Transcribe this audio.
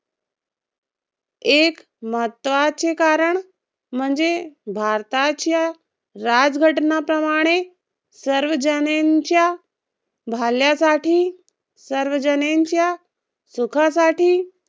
एक महत्वाचे कारण म्हणजे भारताच्या राज्यघटनाप्रमाणे सर्वजणांच्या भल्यासाठी, सर्वजणांच्या सुखासाठी